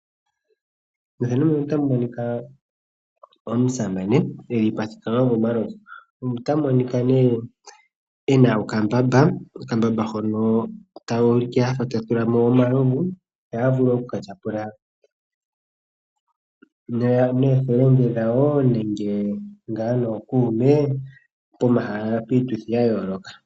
Mefano muno otamu monika omusamane elipo a thikama momalovu. Ota monika nee ena okambamba, okambamba hono tayu ulike afa ta tulamo omalovu. Yo ya vule okuka tyapula noofelende dhawo nenge ngaa nookume pomahala piituthi gayoloka.